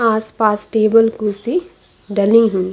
आसपास टेबल खुर्सी डली हुई--